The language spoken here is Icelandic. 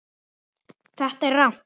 Þetta er rangt.